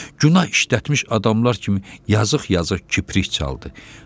Günah işlətmiş adamlar kimi yazıq-yazıq kiprik çaldı.